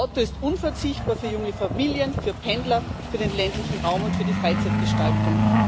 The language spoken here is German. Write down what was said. Das Auto ist unverzichtbar für junge Familien, für Pendler, für den ländlichen Raum und für die Freizeitgestaltung.